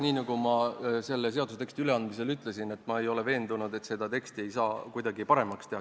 Nii nagu ma selle seaduseteksti üleandmisel ütlesin, ei ole ma veendunud, et seda ei saaks kuidagi paremaks teha.